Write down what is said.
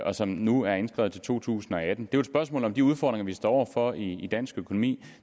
og som nu er indskrevet til to tusind og atten det er et spørgsmål om de udfordringer vi står over for i dansk økonomi